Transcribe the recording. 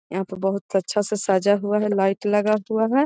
यहाँ पे बहुत अच्छा से सजा हुआ है लाइट लगा हुआ है।